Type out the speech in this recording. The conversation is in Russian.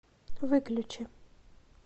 выключи